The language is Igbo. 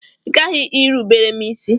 Ị ghaghị irubere m isi!